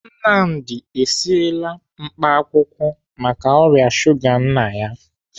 Nnamdi esiela mkpaakwụkwọ maka ọrịa shuga nna ya.